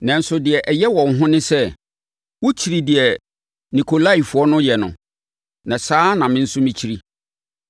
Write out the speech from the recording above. Nanso, deɛ ɛyɛ wɔ wo ho ne sɛ, wokyiri deɛ Nikolaifoɔ no yɛ no, na saa ara na me nso mekyiri.